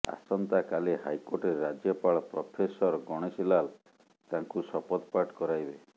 ଆସନ୍ତାକାଲି ହାଇକୋର୍ଟରେ ରାଜ୍ୟପାଳ ପ୍ରଫେସର ଗଣେଷୀ ଲାଲ ତାଙ୍କୁ ଶପଥ ପାଠ କରାଇବେ